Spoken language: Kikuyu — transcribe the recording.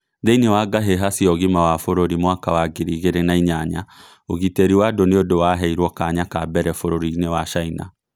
Thĩinĩ wa ngahĩha cia ũgima wa bũrũri mwaka was ngiri igĩrĩ na inyanya ũgitĩrĩ wa andũ nĩũ ndũ waheirwo kanya ka mbere bũrũrinĩ wa chania